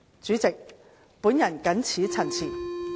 主席，我謹此陳辭。